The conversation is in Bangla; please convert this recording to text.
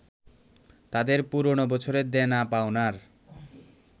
তাদের পুরনো বছরের দেনা-পাওনার